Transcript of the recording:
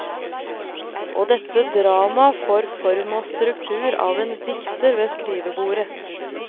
Og dette dramaet får form og struktur av en dikter ved skrivebordet.